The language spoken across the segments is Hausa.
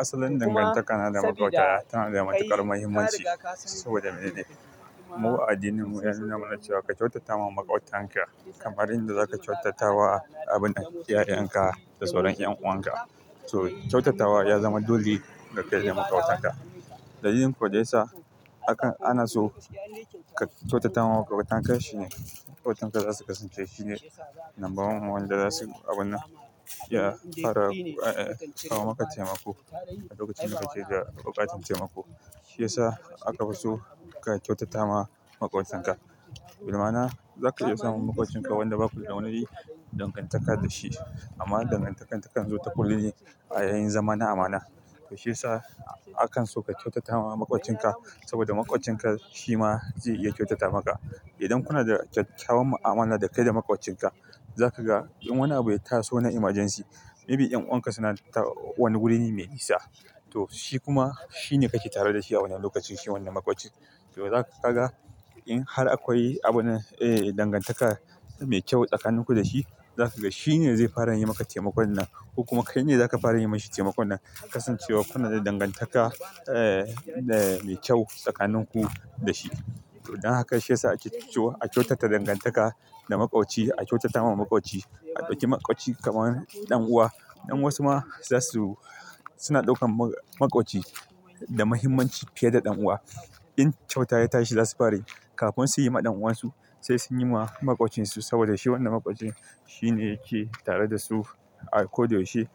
Asalin dangantaka na da matuƙar muhimmanci saboda mu a addinin mu an nuna mana cewa ka kyautata ma maƙwabtanka kamar inda zaka kyautata wa iyayenka da sauran 'yan'uwanka. Kyautata wa ya zama dole da kayi wa maƙwabtanka. Dalilin ko daya sa anaso ka kyautata ma maƙwabtanka shine maƙwabtanka zasu kasance shine number one ma wanda zasu iya fara kawo maka taimako a lokacin da kake da buƙatar taimako. Shi ya sa aka fi so ka kyautata ma maƙwabtanka. Da dama za ka iya samun maƙwabcinka wanda ba kuda wani dangantaka da shi amma dangantakar takan zo ta kulli a yayin zama na amana. Shi ya sa akan so ka kyautata ma maƙwabcinka saboda maƙwabcinka shi ma zai iya kyautata maka. Idan kuna da kyakkyawan mu'amala dakai da maƙwabcinka, zaka ga in wani abu ya taso na emergency, maybe 'yan'uwan ka suna wani wuri ne mai nisa, to shi kuma shine kake tare da shi a wannan lokacin shi wannan maƙwocin. To za ka ga in har akwai abin nan dangantaka mai kyau tsakanin ku da shi, za ka ga shi ne zai fara yi maka taimakon nan ko kuma kai ne zaka fara yi mashi taimakon nan. Kasancewar kuna da dangantaka mai kyau tsakanin ku da shi. Dan haka shi ya sa ake cewa a kyautata dangantaka da maƙwabci, a kyautata ma maƙwabci. A ɗauki maƙwabci kamar ɗan'uwa. Wasu ma suna ɗaukar maƙwabci da muhimmanci fiye da ɗan'uwa. In kyauta ya tashi za su fari yi kafin su yi ma ɗan'uwansu sai sun yi ma maƙwabcinsu saboda shi wannan maƙwabcin shine yake tare da su. A kodayaushe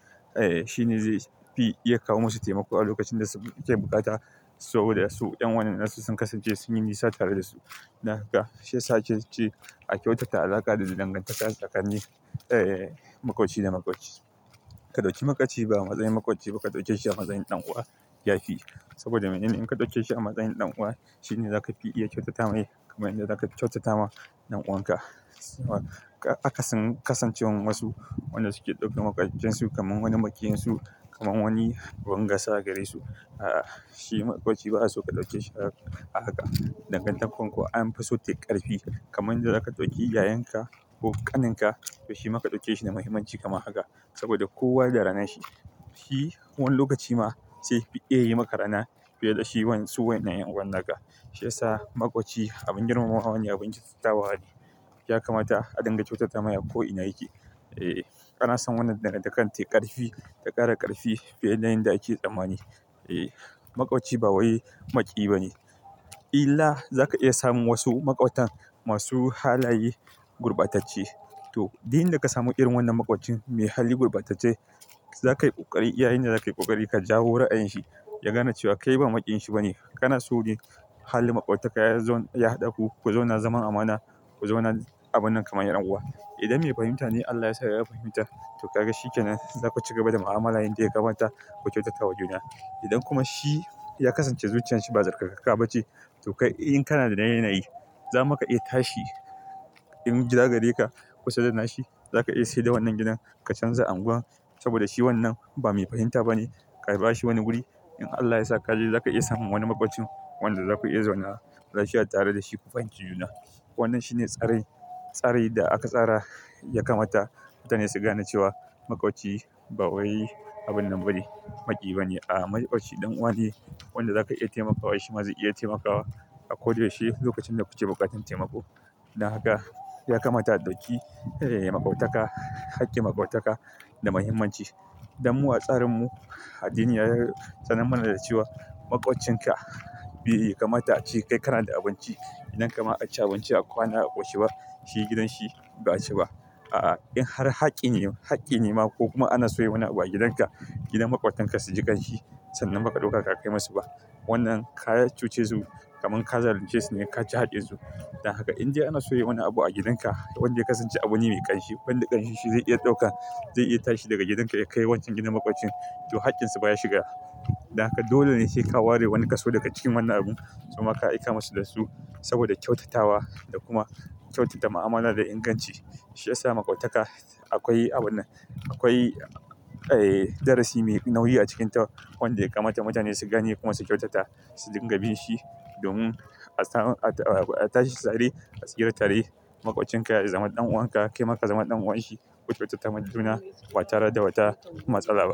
shi ne zai fi iya kawo musu taimako a lokacin da suke bukata saboda su 'yan uwan nasu sun kasance sun yi nisa tare da su. Dan haka shi ya sa ake cewa a kyautata alaƙa da dangantaka tsakanin maƙwabci da maƙwabci. Ka ɗauki maƙwabci ba a masayin maƙwabci ba ka ɗaukeshi a masayin ɗan'uwa ya fi saboda mene ne? In ka ɗaukeshi a masayin ɗan'uwa shi ne zaka fi iya kyautata mai kamar inda zaka kyautata ma ɗan'uwan ka. Akasin kasancewan wasu wanda suke ɗaukan maƙwabcinsu kamar wani maƙiyinsu, kamar wani abun gasa a gare su. Shi maƙwabci ba'a so ka ɗauceshi a haka. Asalin dangantaka na da matuƙar muhimmanci saboda mu a addinin mu an nuna mana cewa ka kyautata ma maƙwabtanka kamar inda zaka kyautata wa iyayenka da sauran 'yan'uwanka. Kyautata wa ya zama dole ga kai da maƙwabtanka. Dalilin ko dai anaso ka kyautata ma maƙwabtanka shine maƙwabtanka zasu kasance sune number one wanda zasu iya fara kawo maka taimako a lokacin da kake da buƙatar taimako. Ana son wannan dagan takan tayi ƙarfi ta ƙara ƙarfi fiye da yanda ake tsammani. Maƙwabci ba wai maƙiyi bane. Illa za ka iya samun wasu maƙwabtan masu halaye gurbatacce. To, duk inda ka samu irin wannan maƙwabcin mai hali gurbatacce, za ka yi ƙoƙari yayinda za ka yi ƙoƙari ka jawo ra'ayin shi, ya gane cewa kai ba maƙiyin shi bane. Kana so yin hali maƙwabtaka ya haɗa ku, ku zauna zaman amana, ku zauna abun nan kamar yan'uwa. Idan mai fahimta ne Allah ya sa ya fahimta to ka ga shi kenan. Za ku ci gaba da mu'amala yanda ya kamata, ku kyautata wa juna. Idan kuma shi ya kasance zuciyan shi ba sarkakakka bace to kai in kana da yanayi, za maka iya tashi in gida gare ka kusa da na shi. Za ka iya sayar da wannan gidan ka canza anguwan saboda shi wannan ba mai fahimta bane. Ka ba shi wani wuri. In Allah ya sa kage za ka iya samun wani maƙwabcin wanda za ku iya zauna lafiya tare da shi. Ku fahimci juna. Wannan shine tsarin tsari da aka tsara ya kamata mutane su gane cewa maƙwabci ba wai abin nan bane maƙiyi bane. Maƙwabci ɗan'uwa ne wanda za ka iya taimakawa shi ma zai iya taimakawa a kodayaushe lokacin da kuke buƙatar taimako. Dan haka ya kamata a ɗauki maƙwabtaka, hakkin maƙwabtaka da muhimmanci. Dan mu a tsarinmu addini ya tsanar mana da cewa maƙwabcinka bai kamata a ce kai kana da abinci. Gidan ka ma a ci abinci a kwana a ƙoshi ba shi gidan shi ba a ci ba. In har hakki ne, hakki ne ma ko kuma ana soya wani abu a gidanka, gidan maƙwabtanka su ji ƙanshi sannan ba ka ɗauka ka kai masu ba. Wannan ka cuce zu ci kamar ka zalunce su ne ka ci haƙƙin su. Dan haka in dai ana soya wani abu a gidanka wanda ya kasance abu ne mai ƙanshi wanda ƙanshi shi zai iya ɗauka, zai iya tashi daga gidan ka ya kai wancan gidan maƙwabin to haƙƙinfa ya shiga. Dan haka dole ne sai ka ware wani kaso daga cikin wannan abun suma ka aika masu da su saboda kyautatawa da kuma kyautata ma'amala da inganci. Shi ya sa maƙwabtaka akwai abun nan, akwai darasi mai nauyi a cikinta wanda ya kamata mutane su gane kuma su kyautata, su dinga bin shi domin a tashi tsare, a tsira tare. Maƙwabcinka ya zama ɗan'uwan ka, kai ma ka zama ɗan'uwan shi. Ku kyautata ma juna ba tare da wata matsala ba.